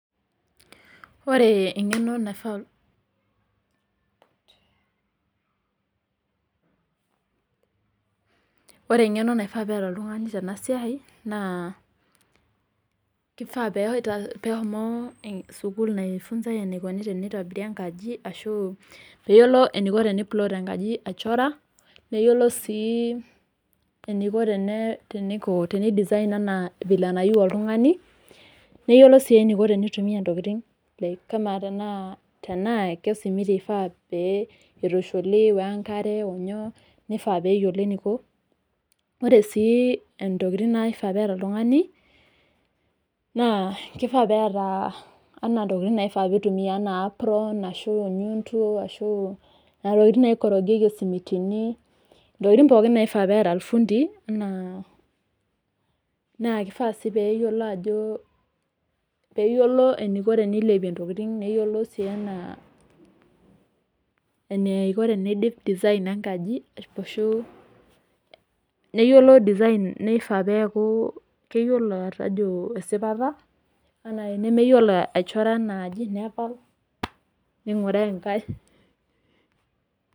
Ore engeno naifaa, ore engeno naifaa peeta oltungani peas enasiai naa kifaa peshomo sukul aas esiai engeno naitobiri enkaji ashu peyiolo teniplot enkaji aichora , neyiolo sii eniko pidesign anaa vile nayieu oltungani , neyiolou sii enifaa peitumia ntokitin tenaa kesimiti pee itushuli wenkare. Ore sii ntokitin naifaa peeta oltungani naa kifaa peeta anaa ntokitin naitumia anaa apron , arashu enyundu ,nena tokitin naikorogieki esimiti , ntokitin pookin naifaa peeta ifundii ,naa kifaa si peyiolo eniko tenilepie ntoktin , neyiolo si eneiko tenidip design enkaji ,nifaa peyiolo atejo esipata .